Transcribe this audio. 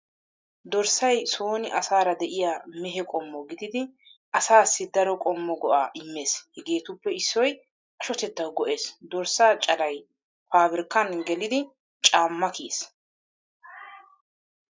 Dorssay sooni asaara de'iyaa mehe qommo gididi asaassi daro qommo go'aa immees hegeetuppe issoy ashotettaawu go'ees. Dorssaa calay faabirkkan gelidi caamma kiyees.